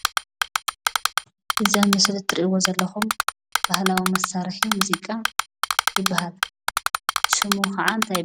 እዙይ ኣብ ምሰሊ እትርእይዎ ዘለኩም ባህላዊ መሳርሒ ሙዚቃ ይብሃል። ሽሙ ከዓ እንታይ ይብሃል?